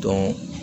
Dɔn